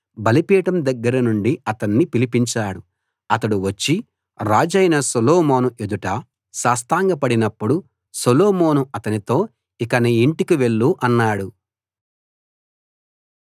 బలిపీఠం దగ్గర నుండి అతణ్ణి పిలిపించాడు అతడు వచ్చి రాజైన సొలొమోను ఎదుట సాష్టాంగపడినపుడు సొలొమోను అతనితో ఇక నీ ఇంటికి వెళ్ళు అన్నాడు